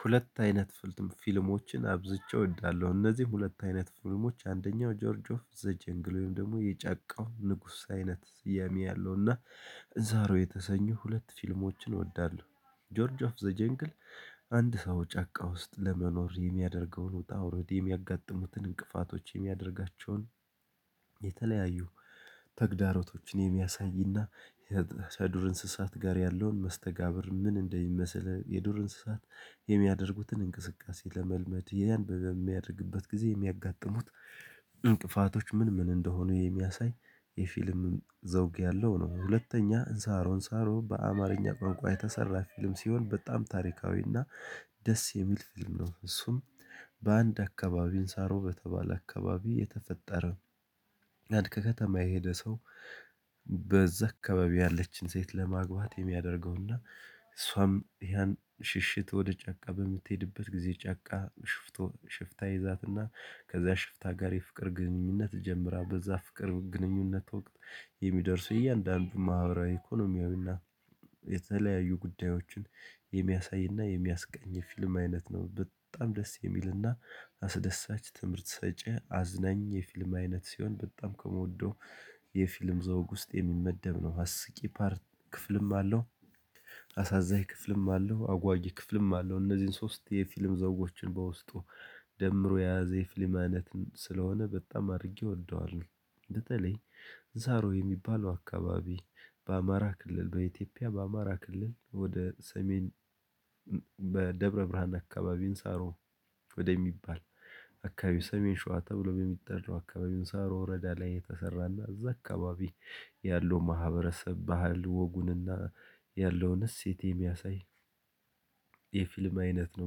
ሁለት አይነት ፊልሞችን አብዝቼ እወዳለሁ። እነዚህ ሁለት አይነት ፊልሞች አንደኛው ጆርጅ ኦፍ ዘ ጀንግሉን ወይም ደግሞ የጫካው ንጉስ አይነት ስያሜ ያለውና ዛሬው የተሰኙ ሁለት ፊልሞችን እወዳለሁ። ጆርጅ ኦፍ ዘ ጀንግል አንድ ሰው ጫካ ውስጥ ለመኖር የሚያደርገውን ወጣ አውርድ የሚያጋጥሙትን እንቅፋቶች የሚያደርጋቸውን የተለያዩ ተግዳሮቶችን የሚያሳይና የዱር እንስሳት ጋር ያለውን መስተጋብር ምን እንደሚመስል የዱር እንስሳት የሚያደርጉትን እንቅስቃሴ ለመልመድ ያን በሚያደርግበት ጊዜ የሚያጋጥሙት እንቅፋቶች ምን ምን እንደሆኑ የሚያሳይ የፊልም ዘውግ ያለው ነው። ሁለተኛ እንሳሮ እንሳሮ በአማርኛ ቋንቋ የተሰራ ፊልም ሲሆን በጣም ታሪካዊና ደስ የሚል ፊልም ነው። እሱም በአንድ አካባቢ እንሳሮ በተባለ አካባቢ የተፈጠረ አንድ ከተማ የሄደ ሰው። በዛ አካባቢ ያለችን ሴት ለማግባት የሚያደርገውና እሷም ያን ሽሽት ወደ ጫቃ በምትሄድበት ጊዜ ጨቃ። ሽፍታ ይዛትና ከዛ ሽፍታ ጋር የፍቅር ግንኙነት ጀምራ በዛ ፍቅር ግንኙነት ወቅት። የሚደርሱ እያንዳንዱ ማህበራዊ ኢኮኖሚያዊና የተለያዩ ጉዳዮችን የሚያሳይና የሚያስቃኝ ፊልም አይነት ነው። በጣም ደስ የሚልና አስደሳች ትምህርት ሰጪ አዝነኝ የፊልም አይነት ሲሆን በጣም ከምወደው የፊልም ዘውግ ውስጥ የሚመደብ ነው። አስቂ ፓርት ክፍልም አለው። አሳዛኝ ክፍልም አለው አጓዬ ክፍልም አለው እነዚህን ሶስት የፊልም ዘውጎችን በውስጡ ደምሮ የያዘ የፊልም አይነት ስለሆነ በጣም አድርጌ እወደዋለሁ። በተለይ እንሳሮ የሚባለው አካባቢ በአማራ ክልል በኢትዮጵያ በአማራ ክልል ወደ ሰሜን። በደብረ ብርሃን አካባቢን እንሳሮ። ወደሚባል አካባቢው ሰሜን ሸዋ ተብሎ በሚጠራው አካባቢውን እንሳሮ ወረዳ ላይ የተሰራና እዛ አካባቢ ያለው ማህበረሰብ ባህል ወጉንና ያለውንስ እሴት የሚያሳይ የፊልም አይነት ነው።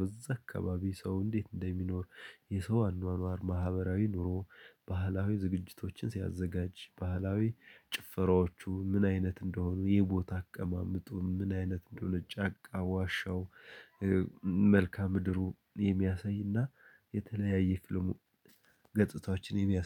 በዛ አካባቢ ሰው እንዴት እንደሚኖር። የሰው አኗኗር ማህበራዊ ኑሮ። ባህላዊ ዝግጅቶችን ሲያዘጋጅ ባህላዊ ጭፈራዎቹ ምን አይነት እንደሆኑ። የቦታ አቀማመጡ ምን አይነት እንደሆነ። ጫካ ዋሻው። መልካም ምድሩ የሚያሳይና የተለያየ ፊልሙ ገጥታዎችን የሚያስ